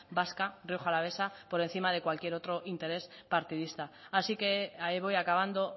vasca rioja alavesa por encima de cualquier otro interés partidista así que voy acabando